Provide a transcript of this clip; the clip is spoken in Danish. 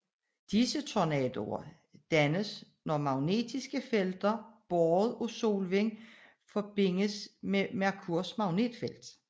Disse tornadoer dannes når magnetiske felter båret af solvinden forbindes med Merkurs magnetfelt